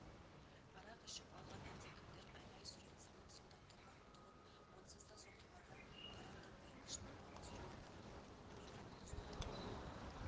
арақ ішіп алған әлдекімдер айғай-сүрең салып солдаттарға ұмтылып онсыз да соқтығарға қара таппай ашынып аласұрған елдің бүйірін қыздыра